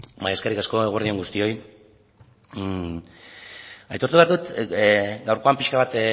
bai eskerrik asko eguerdi on guztioi aitortu behar dut gaurkoan pixka bat